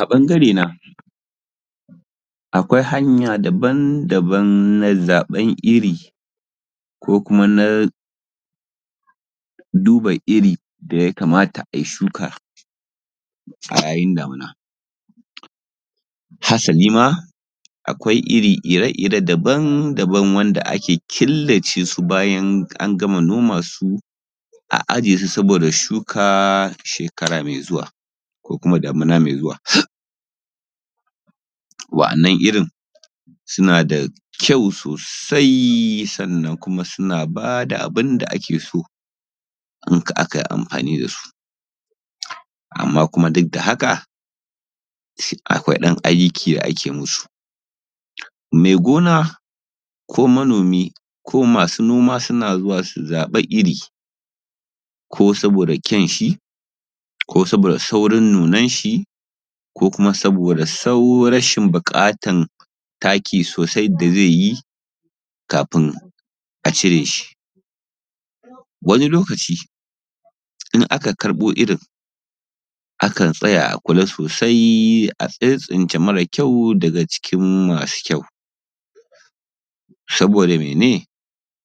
A ɓangarena akwai hanya daban-daban na zaɓen iri, ko kuma na duba iri da ya kamata a yi shuka, a yayin damina. Hasali ma, akwai iri ire-ire daban-daban wanda ake kilace su bayan an gama noman su, a aje su saboda shuka shekara mai zuwa, ko kuma damina mai zuwa. Wa’annan irin, suna da kyau sosai sannan kuma suna ba da abun da ake so in akai amfani da su, amma kuma duk da haka, akwai ɗan aiki da ake musu. Mai gona, ko manomi, ko masu noma suna zuwa su zaɓa iri, ko saboda kyanshi, ko saboda saurin nunanshi, ko kuma saboda rashin buƙatan taki sosai da zai yi, kafin a cire shi. Wani lokaci, in aka karɓo irin, akan tsaya a kula sosai a tsintsince mara kyau daga cikin masu kyau, saboda mene?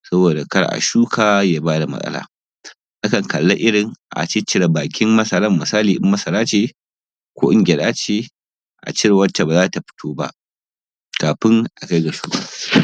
Saboda kar a shuka ya ba da matsala. Akan kalli irin, a ciccire bakin masaran, misali idan masara ce, ko in gyaɗa ce, a cire wacce ba za ta fito ba, kafin a kai ga shuka.